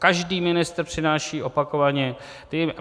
Každý ministr přináší opakovaně...